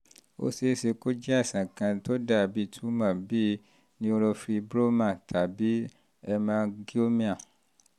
ó ṣe é ṣe kó jẹ́ àìsàn kan tó dàbí túmọ̀ bíi neurofibroma um tàbí hemangioma